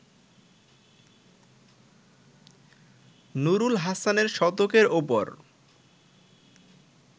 নুরুল হাসানের শতকের ওপর